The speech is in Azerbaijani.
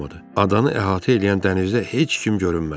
Adanı əhatə eləyən dənizdə heç kim görünmədi.